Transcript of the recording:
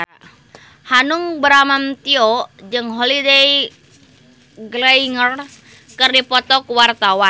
Hanung Bramantyo jeung Holliday Grainger keur dipoto ku wartawan